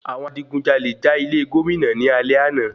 Àwọn adigunjalè jà ilé Gómìnà ní alé àná.